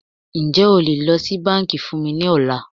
Ǹjẹ́ o lè lọ sí bánkì fún mí ní ọ̀la?